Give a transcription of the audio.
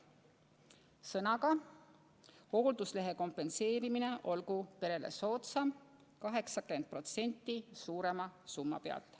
Ühesõnaga, hoolduslehe kompenseerimine olgu perele soodsam: 80%, arvestatuna suuremast summast.